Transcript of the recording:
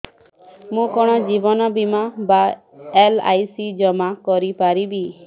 ମୁ କଣ ଜୀବନ ବୀମା ବା ଏଲ୍.ଆଇ.ସି ଜମା କରି ପାରିବି